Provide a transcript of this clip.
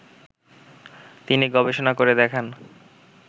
তিনি গবেষণা করে দেখান